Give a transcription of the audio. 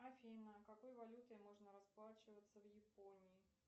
афина какой валютой можно расплачиваться в японии